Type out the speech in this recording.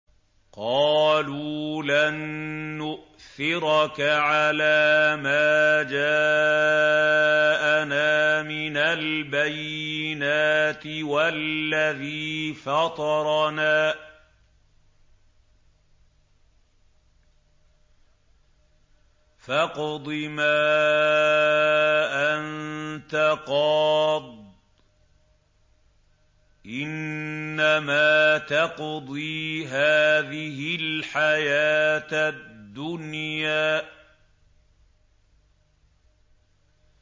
قَالُوا لَن نُّؤْثِرَكَ عَلَىٰ مَا جَاءَنَا مِنَ الْبَيِّنَاتِ وَالَّذِي فَطَرَنَا ۖ فَاقْضِ مَا أَنتَ قَاضٍ ۖ إِنَّمَا تَقْضِي هَٰذِهِ الْحَيَاةَ الدُّنْيَا